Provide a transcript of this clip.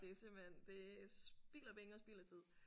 Det er simpelthen det er spild af penge og spild af tid